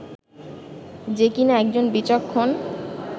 যে কিনা একজন বিচক্ষণ